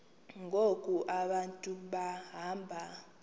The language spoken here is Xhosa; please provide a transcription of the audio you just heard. ngoku abantu behamba